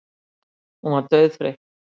Hún var dauðþreytt.